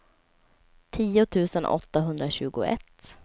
tio tusen åttahundratjugoett